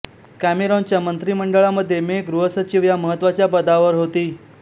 कॅमेरॉनच्या मंत्रीमंडळामध्ये मे गृहसचिव ह्या महत्त्वाच्या पदावर होती